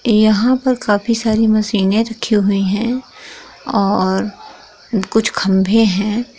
यहा पर काफी सारी मशीने रखी हुई है और कुछ खम्भे है।